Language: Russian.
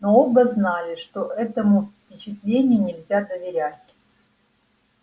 но оба знали что этому впечатлению нельзя доверять